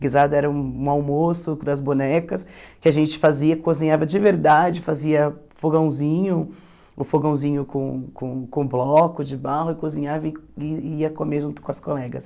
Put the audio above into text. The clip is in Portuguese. Guisado era um almoço das bonecas que a gente fazia, cozinhava de verdade, fazia fogãozinho, o fogãozinho com com com bloco de barro e cozinhava e e ia comer junto com as colegas.